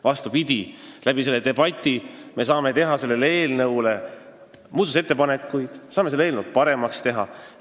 Vastupidi, selle debati abil me saame eelnõu kohta muudatusettepanekuid teha, seda eelnõu paremaks teha.